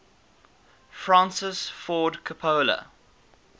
francis ford coppola